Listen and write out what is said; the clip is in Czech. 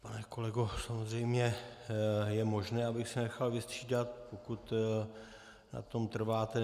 Pane kolego, samozřejmě, je možné, abych se nechal vystřídat, pokud na tom trváte.